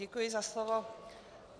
Děkuji za slovo.